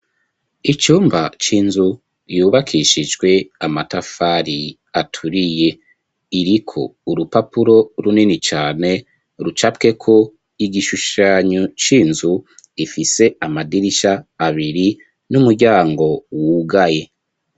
Icumba c'inzu, yubakishijwe amatafari aturiye. Iriko urupapuro runini cane, rucapweko igishushanyo c'inzu, ifise amadirisha abiri, n'umuryango wugaye.